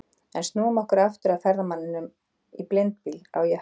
En snúum okkur aftur að ferðamanninum í blindbyl á jökli.